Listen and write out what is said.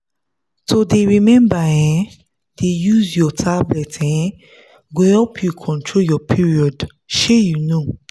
to dey remember um dey use your tablet um go help you control your perod shey you know.